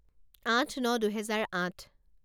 আঠ ন দুহেজাৰ আঠ